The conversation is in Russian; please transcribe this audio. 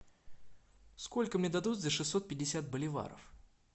сколько мне дадут за шестьсот пятьдесят боливаров